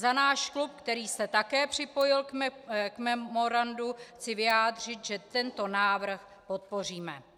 Za náš klub, který se také připojil k memorandu, chci vyjádřit, že tento návrh podpoříme.